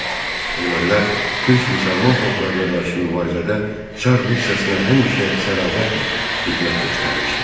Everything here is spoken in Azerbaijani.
Ermənilər türk müsəlman xalqlarına qarşı mübarizədə Çar Rusiyasına həmişə sədaqətlə xidmət göstərmişdilər.